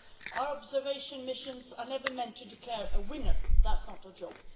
Our observation missions are never meant to declare a winner, that's not our job.